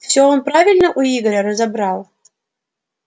всё он правильно у игоря к разобрал